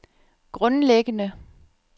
grundlæggende